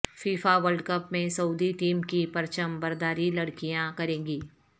FIFA world cup میں Saudi team کی پرچم برداری لڑکیاں کرینگی